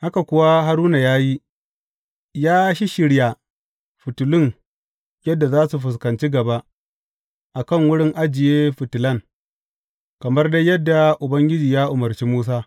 Haka kuwa Haruna ya yi; ya shisshirya fitilun yadda za su fuskanci gaba a kan wurin ajiye fitilan, kamar dai yadda Ubangiji ya umarci Musa.